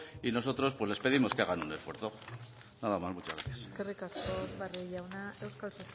y nosotros les pedimos que hagan un esfuerzo nada más muchas gracias eskerrik asko barrio jauna euskal